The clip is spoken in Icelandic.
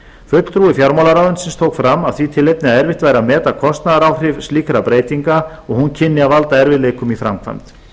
fulltrúi fjármálaráðuneytisins tók fram af því tilefni að erfitt væri að meta kostnaðaráhrif slíkrar breytingar og að hún kynni að valda erfiðleikum í framkvæmd